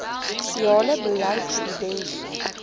siale beleid geïdenti